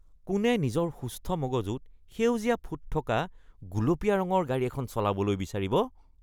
কোনে নিজৰ সুস্থ মগজুত সেউজীয়া ফুট থকা গুলপীয়া ৰঙৰ গাড়ী এখন চলাবলৈ বিচাৰিব?